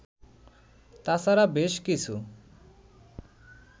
তাছাড়া বেশ কিছু